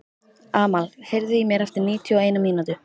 Amal, heyrðu í mér eftir níutíu og eina mínútur.